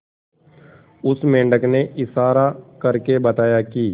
उस मेंढक ने इशारा करके बताया की